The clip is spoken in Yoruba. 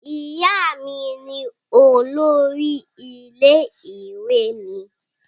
Ìyá mi ní olórí ilé ìwé mí